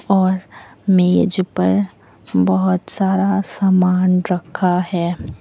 और मेज पर बहोत सारा सामान रखा है।